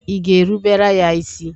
Ị ga-erubere ya isi.